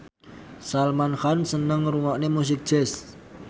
Salman Khan seneng ngrungokne musik jazz